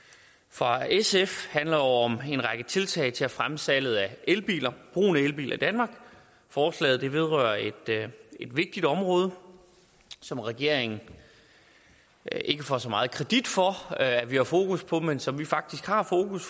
fra sf handler om en række tiltag til at fremme salget af elbiler og brugen af elbiler i danmark forslaget vedrører et vigtigt område som regeringen ikke får så meget kredit for at have fokus på men som vi faktisk har fokus